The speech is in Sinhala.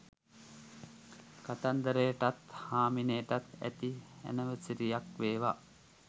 කතන්දරටත් හාමිනේටත් සුභ ඇනිවසරියක් වේවා